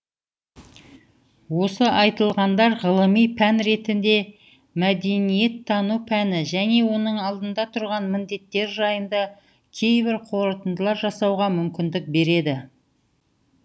осы айтылғандар ғылыми пән ретінде мәдениеттану пәні және оның алдында тұрған міндеттер жайында кейбір қорытындылар жасауға мүмкіндік береді